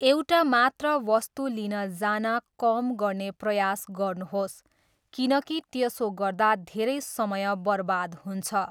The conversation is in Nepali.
एउटा मात्र वस्तु लिन जान कम गर्ने प्रयास गर्नुहोस्, किनकि त्यसो गर्दा धेरै समय बर्बाद हुन्छ।